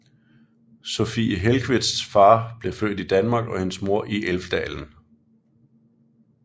Sofia Hellqvists far blev født i Danmark og hendes mor i Älvdalen